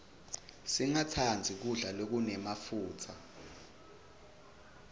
singastandzi kudla lokunemafutsa